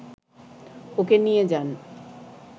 ওকে নিয়ে যান